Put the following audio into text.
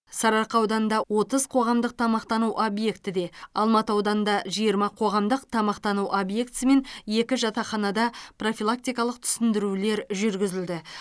сарыарқа ауданында отыз қоғамдық тамақтану объектіде алматы ауданында жиырма қоғамдық тамақтану объектісі мен екі жатақханада профилактикалық түсіндірулер жүргізілді